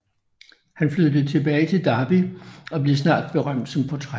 Han flyttede tilbage til Derby og blev snart berømt som portrætmaler